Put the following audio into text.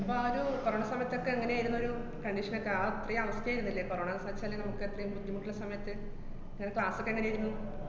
അപ്പ ആ ഒരു corona സമയത്തൊക്കെ എങ്ങനെയാരുന്നൊരു condition നൊക്കെ? ആ ഇത്രേം അവസ്ഥയാര്ന്നില്ലേ corona ന്നാച്ചാല് നമക്ക് അത്രേം ബുദ്ധിമുട്ടുള്ള സമയത്ത്, ങ്ങടെ class ഒക്കെ എങ്ങനേര്ന്നു?